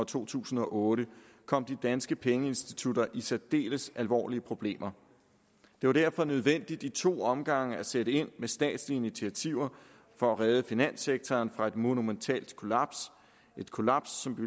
to tusind og otte kom de danske pengeinstitutter i særdeles alvorlige problemer det var derfor nødvendigt i to omgange at sætte ind med statslige initiativer for at redde finanssektoren fra et monumentalt kollaps et kollaps som